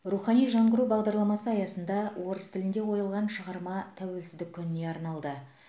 рухани жаңғыру бағдарламасы аясында орыс тілінде қойылған шығарма тәуелсіздік күніне арналды